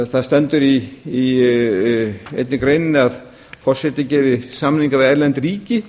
það stendur í einni greininni að forseti geti samninga við erlend ríki